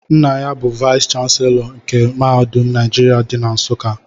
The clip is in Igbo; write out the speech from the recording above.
Nna ya bu vayis chansilọ nke mahadum Naijiria dị na Nsuka.